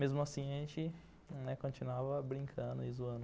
Mesmo assim, a gente continuava brincando e zoando.